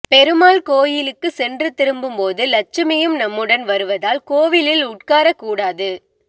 பெருமாள் கோயிலுக்கு சென்று திரும்பும் போது லட்சுமியும் நம்முடன் வருவதால் கோவிலில் உட்காரக்கூடாது